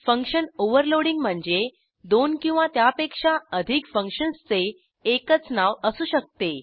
function overloading म्हणजे दोन किंवा त्यापेक्षा अधिक फंक्शन्सचे एकच नाव असू शकते